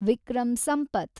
Vikram Sampath